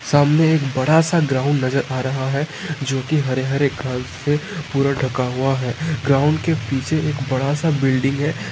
सामने एक सा ग्राउंड नजर आ रहा है जोकि हरे-हरे घास से पूरा ढका हुआ है ग्राउंड के पीछे एक बड़ा सा बिल्डिंग है।